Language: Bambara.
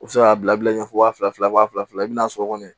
U bɛ se k'a bila bila ɲɛfɛ wa fila fila wa fila fila i bɛna so kɔnɔ